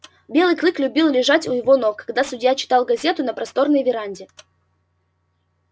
белый клык любил лежать у его ног когда судья читал газету на просторной веранде